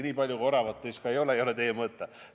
Nii palju oravat teis ka ei ole, et see oleks teie mõõta.